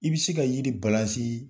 I bɛ se ka yiri ye